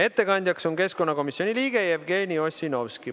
Ettekandja on keskkonnakomisjoni liige Jevgeni Ossinovski.